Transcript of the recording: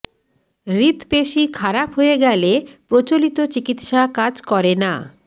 হৃদপেশি খারাপ হয়ে গেলে প্রচলিত চিকিত্সা কাজ করে না